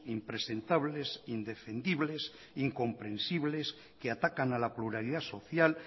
impresentables indefendibles incomprensibles que atacan a la pluralidad social